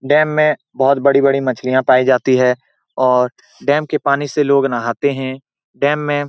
dam में बहुत बड़ी बड़ी मछलियाँ पाई जाती हैं और डेम के पानी से लोग नहाते हैं डेम में --